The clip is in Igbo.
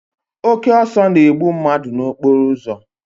Oke ọsọ na-egbu mmadụ n'okporo ụzọ.